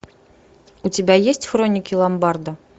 у тебя есть хроники ломбарда